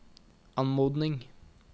anmodning